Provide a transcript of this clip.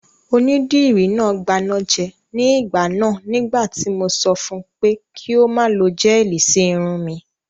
Onídìrí náà gbanájẹ ní ìgbà náà nígbà tí mo sọ fun pé kí ó má lo gẹ́ẹ̀lì sí irun mi